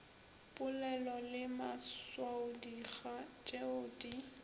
polelo le maswaodikga tšeo di